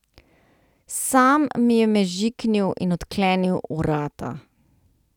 Sam mi je mežiknil in odklenil vrata.